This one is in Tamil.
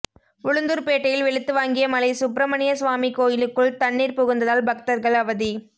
உளுந்தூர்பேட்டையில் வெளுத்து வாங்கிய மழை சுப்ரமணியசுவாமி கோயிலுக்குள் தண்ணீர் புகுந்ததால் பக்தர்கள் அவதி